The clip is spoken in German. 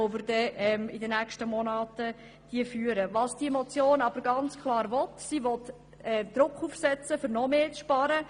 Diese Motion will ganz klar Druck ausüben, um noch mehr zu sparen.